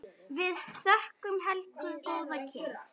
Við þökkum Helgu góð kynni.